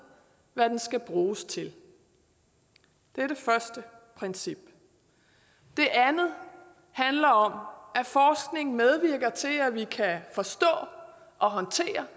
hvad den skal bruges til det er det første princip det andet handler om at forskning medvirker til at vi kan forstå og håndtere